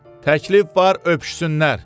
Təklif var öpüşsünlər.